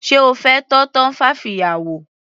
Sé O fẹ́ tọ́ tumfafiya wò.